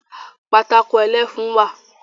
Pátákó ẹlẹ́fun wà